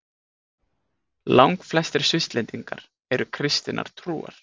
Langflestir Svisslendingar eru kristinnar trúar.